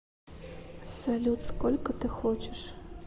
салют сколько ты хочешь